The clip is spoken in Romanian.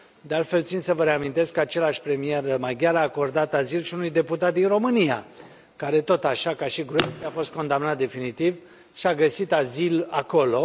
De altfel, țin să vă reamintesc că același premier maghiar a acordat azil și unui deputat din România, care tot așa, ca și Gruevski, a fost condamnat definitiv și a găsit azil acolo.